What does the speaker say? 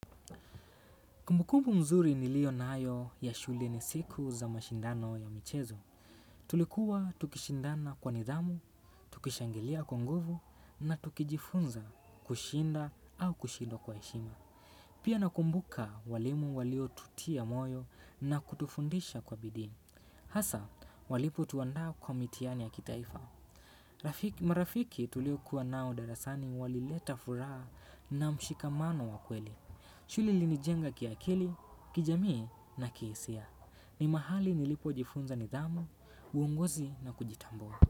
Kumbukubu mzuri niliyonayo ya shule ni siku za mashindano ya michezo. Tulikuwa tukishindana kwa nidhamu, tukishangilia kwa nguvu na tukijifunza kushinda au kushindwa kwa heshima. Pia nakumbuka walimu waliotutia moyo na kutufundisha kwa bidii. Hasa, walipotuandaa kwa mitihani ya kitaifa. Marafiki tuliokuwa nao darasani walileta furaha na mshikamano wa kweli. Shule ilinijenga kiakili, kijamii na kihisia. Ni mahali nilipojifunza nidhamu, uongozi na kujitambua.